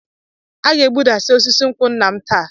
A ga-egbuda osisi nkwụ nna m taa.